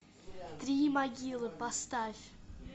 три могилы поставь